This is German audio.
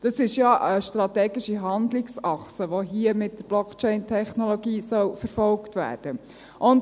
Das ist ja eine strategische Handlungsachse, die hier mit der Blockchain-Technologie verfolgt werden soll.